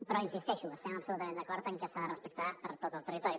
però hi insisteixo estem absolutament d’acord en que s’ha de respectar a tot el territori